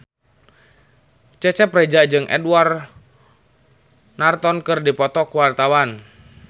Cecep Reza jeung Edward Norton keur dipoto ku wartawan